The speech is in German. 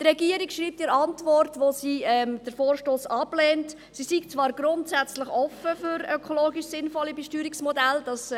Die Regierung schreibt in der Antwort, mit der sie den Vorstoss ablehnt, sie sei zwar «grundsätzlich offen» für ökologisch sinnvolle Besteuerungsmodelle.